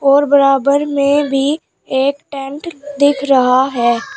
और बराबर में भी एक टेंट दिख रहा है।